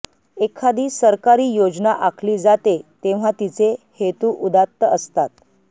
एखादी सरकारी योजना आखली जाते तेव्हा तिचे हेतू उदात्त असतात